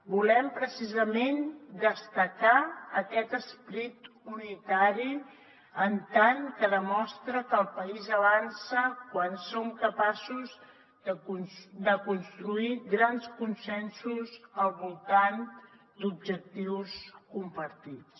volem precisament destacar aquest esperit unitari en tant que demostra que el país avança quan som capaços de construir grans consensos al voltant d’objectius compartits